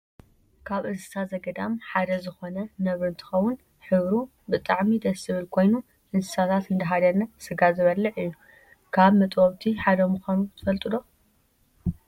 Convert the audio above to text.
ካብ እንስሳ ዘገዳብ ሓደ ዝኮነ ነብሪ እንትከውን ሕብሩ ብጣዕሚ ደስ ዝብል ኮይኑ እንስሳታት እንዳሃደነ ስጋ ዝበልዕ እዩ። ካብ መጥበውቲ ሓደ ምኳኑ ትፈልጡ ዶ?